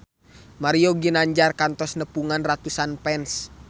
Mario Ginanjar kantos nepungan ratusan fans